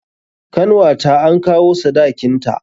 Kanwata an kawo sadakin ta.